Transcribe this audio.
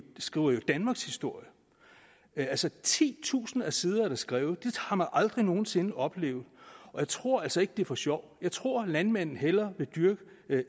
skriver jo danmarkshistorie altså titusinder af sider er der skrevet det har man aldrig nogen sinde før oplevet og jeg tror altså ikke det er gjort for sjov jeg tror landmanden hellere vil dyrke